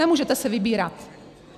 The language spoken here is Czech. Nemůžete si vybírat.